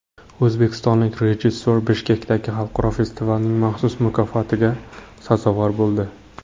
O‘zbekistonlik rejissyor Bishkekdagi xalqaro festivalning maxsus mukofotiga sazovor bo‘ldi.